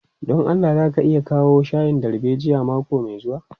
Don Allah za ka iya kawo shayin darbejiyan mako mai zuwa.